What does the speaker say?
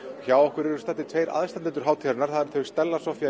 hjá okkur eru tveir aðstandendur hátíðarinnar þau Stella Soffía